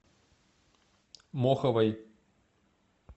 моховой